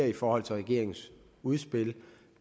i forhold til regeringens udspil